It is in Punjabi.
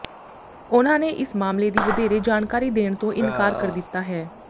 ਉਨ੍ਹਾਂ ਨੇ ਇਸ ਮਾਮਲੇ ਦੀ ਵਧੇਰੇ ਜਾਣਕਾਰੀ ਦੇਣ ਤੋਂ ਇਨਕਾਰ ਕਰ ਦਿੱਤਾ ਹੈ